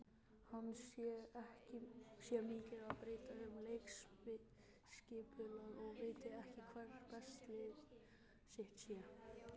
Hann sé mikið að breyta um leikskipulag og viti ekki hvert besta lið sitt sé.